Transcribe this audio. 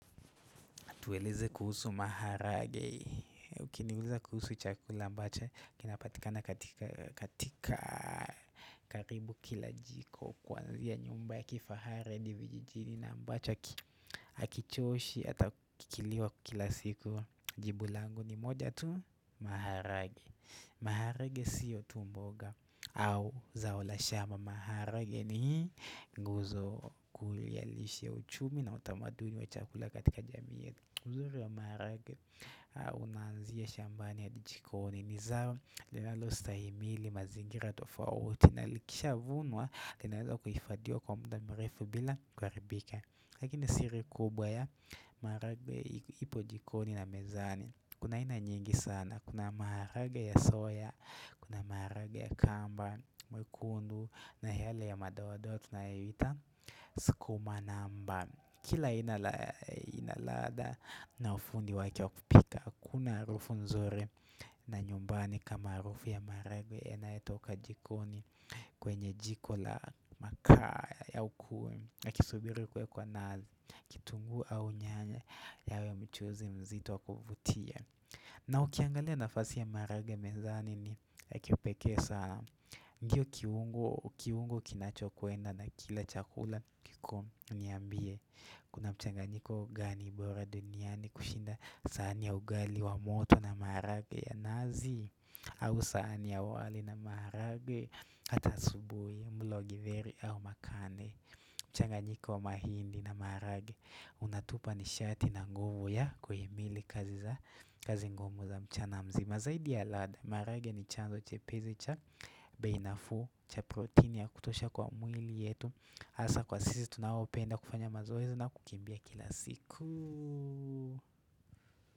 Tueleze kuhusu maharage, ukiniuliza kuhusu chakula ambacho kinapatikana katika karibu kila jiko Kwanzia nyumba ya kifahari hadi vijijini na ambacho hakichoshi ata kikiliwa kila siku jibu langu ni moja tu maharage maharage siyo tu mboga au zao la shamba maharage ni guzo kulialishi ya uchumi na utamaduni wa chakula katika jamii uzuri ya maharaga unanzia shambani ya jikoni ni zao linalostahimili mazingira tofauti na likisha vunwa, kinaweza kufadhiwa kwa muda mrefu bila kuharibika Lakini siri kubwa ya maharagwe ipo jikoni na mezani Kuna aina nyingi sana, kuna maharaga ya soya, kuna maharaga ya kamba, mwekundu na yale ya madoadoa tunayoita, skuma anamba Kila aina ya inaladha na ufundi wake wakupika, hakuna arufu nzuri na nyumbani kama harufi ya marage ena etoka jikoni kwenye jiko la makaa ya ukwe na kisubiru kwe kwa na kitungu au nyanya yawe mchuzi mzitu wakuvutia. Na ukiangalia nafasi ya marage mezani ni ya kipekesa ndiyo kiungu kinacho kuenda na kila chakula kiko niambie. Kuna mchanganyiko gani ibora duniani kushinda saani ya ugali wa moto na marage ya nazi au sahani ya wali na marage, atasubui, mblogi veri au makane mchanganyiko wa mahindi na marage Unatupa ni shati na nguvu ya kuhimili kazi ngumu za mchanamzi Mazaidi ya lada, marage ni chanzo chepezi cha bei nafuu, cha protein ya kutosha kwa mwili yetu hasa kwa sisi tunaopenda kufanya mazoezo na kukimbia kila siku.